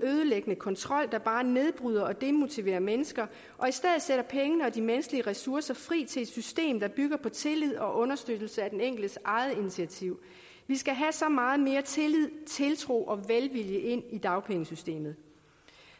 ødelæggende kontrol der bare nedbryder og demotiverer mennesker og i stedet sætter pengene og de menneskelige ressourcer fri i et system der bygger på tillid og understøttelse af den enkeltes eget initiativ vi skal have så meget mere tillid tiltro og velvilje ind i dagpengesystemet